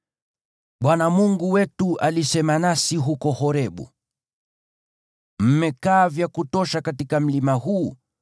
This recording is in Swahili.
Bwana Mungu wetu alisema nasi huko Horebu, “Mmekaa vya kutosha katika mlima huu.